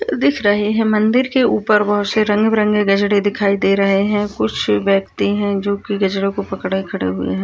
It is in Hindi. दिख रहे है मंदिर के ऊपर बहुत से रंग बिरंगे गजरे दिखाई दे रहे है कुछ व्यक्ति है जो की गजरों को पकड़े खड़े हुए है।